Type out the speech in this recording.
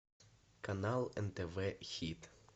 канал нтв хит